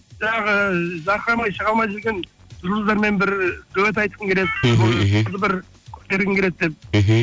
жаңағы жарқырамай шыға алмай жүрген жұлдыздармен бір дуэт айтқым келеді бір көтергім келеді деп мхм